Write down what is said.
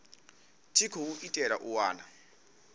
tshi khou itelwa u wana